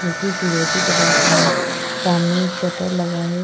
जो कि फिरोजी कलर का है सामने एक शटर लगा है।